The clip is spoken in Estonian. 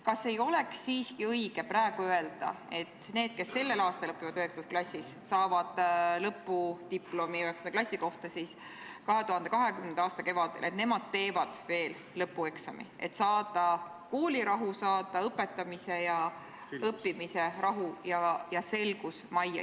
Kas ei oleks siiski õige praegu öelda, et need, kes sellel aastal õpivad 9. klassis ja saavad 9. klassi lõpudiplomi 2020. aasta kevadel, teevad veel lõpueksami, et saada koolirahu, saada õpetamise ja õppimise rahu ja selgus majja?